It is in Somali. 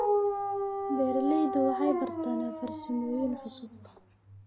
Beeraleydu waxay bartaan farsamooyin cusub.